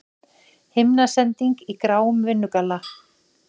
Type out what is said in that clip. Himnasending í gráum vinnugalla.